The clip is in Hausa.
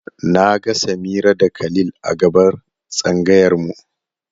Na ga Samira da Khalil a gaban tsangayar mu.